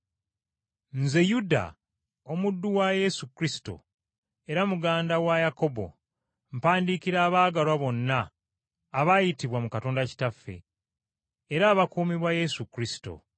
Nze, Yuda, omuddu wa Yesu Kristo, era muganda wa Yakobo, mpandiikira abaagalwa bonna abaayitibwa mu Katonda Kitaffe, era abakuumibwa Yesu Kristo.